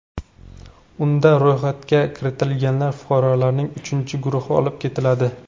Unda ro‘yxatga kiritilgan fuqarolarning uchinchi guruhi olib ketiladi.